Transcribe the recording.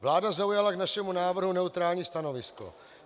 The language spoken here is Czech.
Vláda zaujala k našemu návrhu neutrální stanovisko.